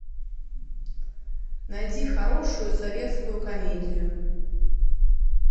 найди хорошую советскую комедию